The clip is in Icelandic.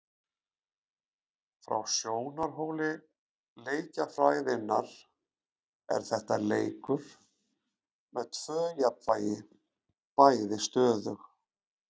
Frá sjónarhóli leikjafræðinnar er þetta leikur með tvö jafnvægi, bæði stöðug.